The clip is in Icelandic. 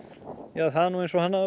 ja það er nú eins og hann hafi